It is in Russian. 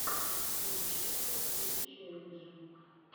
включи крутые челленджи